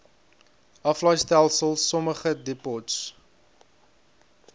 aflaaistelsel sommige depots